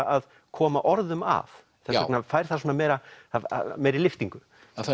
að koma orðum að þess vegna fær það svona meiri meiri lyftingu